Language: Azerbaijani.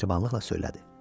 O mehribanlıqla söylədi.